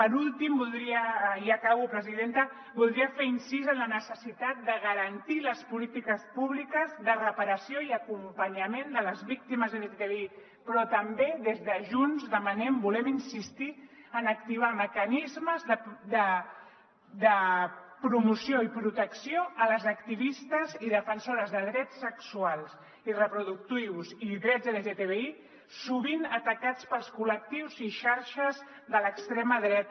per últim voldria i ja acabo presidenta fer incís en la necessitat de garantir les polítiques públiques de reparació i acompanyament de les víctimes lgtbi però també des de junts demanem volem insistir en activar mecanismes de promoció i protecció a les activistes i defensores de drets sexuals i reproductius i drets lgtbi sovint atacades pels col·lectius i xarxes de l’extrema dreta